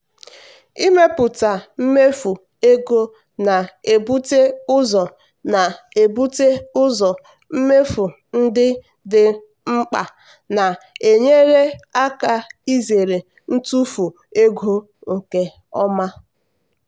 ịmepụta mmefu ego na-ebute ụzọ na-ebute ụzọ mmefu ndị dị mkpa na-enyere aka izere ntufu ego nke ọma.